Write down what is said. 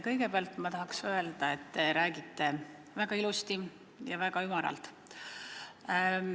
Kõigepealt ma tahan öelda, et te räägite väga ilusti ja väga ümaralt.